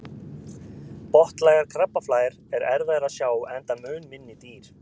botnlægar krabbaflær er erfiðara að sjá enda mun minni dýr